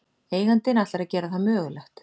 Eigandinn ætlar að gera það mögulegt